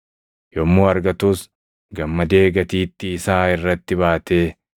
Yommuu argatus gammadee gatiittii isaa irratti baatee,